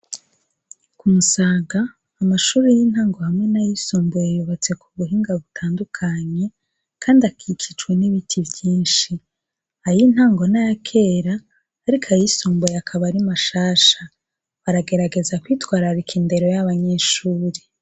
Ku Musaga amashuri y'intango hamwe n'ayisumbuye yubotse ku buhinga butandukanye kandi akikijwe n'ibiti byinshi. Ay' intango nayakera ariko ayisumbuye akaba ari mashasha. Baragerageza kwitwararika indero y'abanyeshuri.